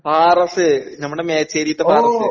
പാറസ്സ് നമ്മളെ മേച്ചേരീത്തെ പാറസ്സ്.